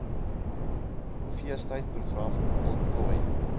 feestyd program ontplooi